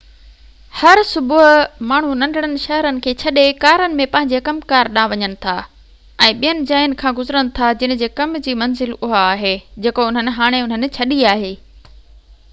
هر صبح ماڻهو ننڍڙن شهرن کي ڇڏي ڪارن ۾ پنهنجي ڪم ڪار ڏانهن وڃن ٿا ۽ ٻين جاين کان گذرن ٿا جن جي ڪم جي منزل اها آهي جيڪو انهن هاڻي انهن ڇڏي آهي